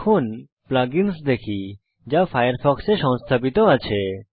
এখন plug ins দেখি যা ফায়ারফক্সে সংস্থাপিত আছে